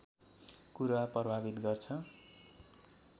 कुरा प्रभावित गर्छ